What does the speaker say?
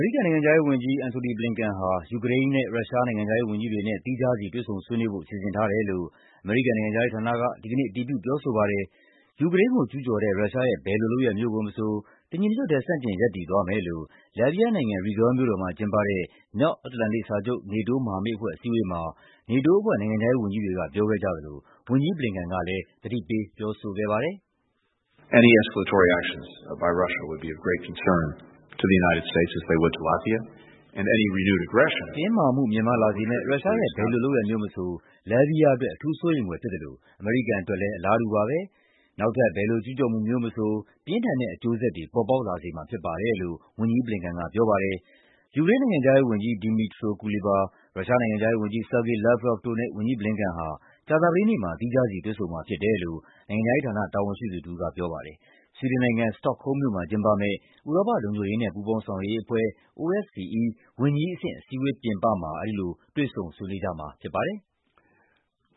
ရိကန်နိုင်ငံခြားရေးဝန်ကြီး Antony Blinken ဟာ ယူကရိန်းနဲ့ ရုရှား နိုင်ငံခြားရေးဝန်ကြီးတွေနဲ့ သီးခြားစီ တွေ့ဆုံဆွေးနွေးဖို့ စီစဉ်ထားတယ်လို့ အမေရိကန်နိုင်ငံခြားရေးဌာနက ဒီကနေ့ အတည်ပြုပြောဆိုပါတယ်။ ယူကရိန်းကိုကျူးကျော်တဲ့ ရုရှားရဲ့ ဘယ်လိုလုပ်ရပ်မျိုးကိုမဆို တညီတညွတ်တည်း ဆန့်ကျင်ရပ်တည်သွားမယ်လို့ လတ်ဗီးယားနိုင်ငံ၊ Riga မြို့တော်မှာကျင်းပတဲ့ မြောက်အတ္တလန်တိတ်စာချုပ် NATO မဟာမိတ်အဖွဲ့ အစည်းအဝေးမှာ NATO အဖွဲ့နိုင်ငံခြားရေးဝန်ကြီးတွေက ပြောခဲ့ကြသလို ဝန်ကြီး Blinken ကလည်း သတိပေးပြောဆိုခဲ့ပါတယ်။ ACT "တင်းမာမှုမြင့်မားလာစေမယ့် ရှရှားရဲ့ ဘယ်လိုလုပ်ရပ်မျိုးမဆို လတ်ဗီးယားအတွက် အထူးစိုးရိမ်ဖွယ်ဖြစ်သလို အမေရိကန်အတွက်လည်း အလားတူပါပဲ။ နောက်ထပ် ဘယ်လိုကျူးကျော်မှုမျိုးမဆို ပြင်းထန်တဲ့အကျိုးဆက်တွေ ပေါ်ပေါက်လာစေမှာဖြစ်ပါတယ်" လို့ ဝန်ကြီး Blinken ကပြောပါတယ်။ ယူကရိန်းနိုင်ငံခြားရေးဝန်ကြီး Dmytro Kuleba ၊ ရုရှားနိုင်ငံခြားရေးဝန်ကြီး Sergey Lavrov တို့နဲ့ ဝန်ကြီး Blinken ဟာ ကြာသပတေးနေ့မှာ သီးခြားစီ တွေ့ဆုံမှာဖြစ်တယ်လို့ နိုင်ငံခြားရေးဌာန တာဝန်ရှိသူတဦးက ပြောပါတယ်။ ဆွီဒင်နိုင်ငံ၊ စတော့ခ်ဟုမ်းမ်မြို့မှာကျင်းပမယ့် ဥရောပ လုံခြုံရေးနဲ့ ပူးပေါင်းဆောင်ရွက်ရေးအဖွဲ့ (OSCE) ဝန်ကြီးအဆင့် အစည်းအဝေးပြင်ပမှာ အဲဒီလို တွေ့ဆုံ ဆွေးနွေးကြမှာဖြစ်ပါတယ်။